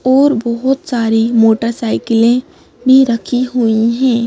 और बहुत सारी मोटरसाइकिलें भी रखी हुई है।